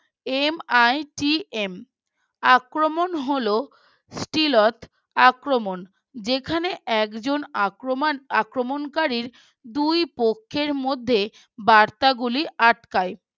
MITM আক্রমণ হলো steal at আক্রমণ যেখানে একজন আক্রমণ আক্রমণকারীর দুই পক্ষের মধ্যে বার্তাগুলি আটকায়